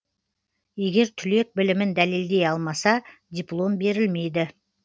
егер түлек білімін дәлелдей алмаса диплом берілмейді